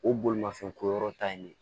O bolimafɛn ko yɔrɔ ta in ne